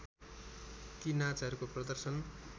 ती नाचहरूको प्रदर्शन